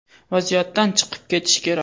Vaziyatdan chiqib ketish kerak.